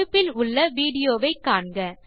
தொடுப்பில் உள்ள விடியோ வை காண்க